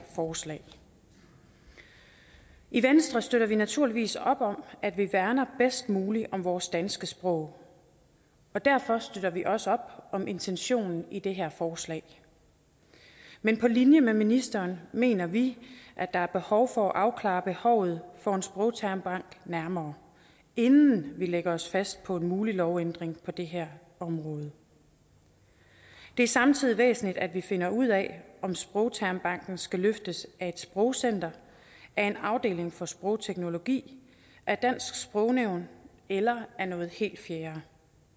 forslag i venstre støtter vi naturligvis op om at vi værner bedst muligt om vores danske sprog og derfor støtter vi også op om intentionen i det her forslag men på linje med ministeren mener vi at der er behov for at afklare behovet for en sprogtermbank nærmere inden vi lægger os fast på en mulig lovændring på det her område det er samtidig væsentligt at vi finder ud af om sprogtermbanken skal løftes af et sprogcenter af en afdeling for sprogteknologi af dansk sprognævn eller af noget helt fjerde